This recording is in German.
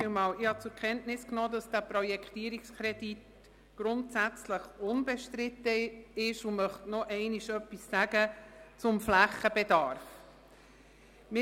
Ich habe zur Kenntnis genommen, dass dieser Projektierungskredit grundsätzlich unbestritten ist und möchte noch einmal etwas zum Flächenbedarf sagen.